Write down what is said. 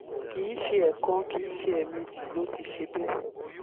kì í ṣe ẹ̀ẹ̀kan kì í ṣe ẹ̀ẹ̀mejì ló ti ṣe bẹ́ẹ̀